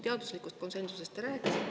Teaduslikust konsensusest te rääkisite.